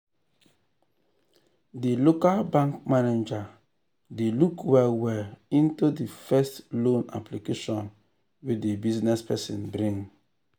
de local bank manager dey look well well into de first loan application wey de business person bring.